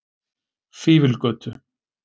Fífilgötu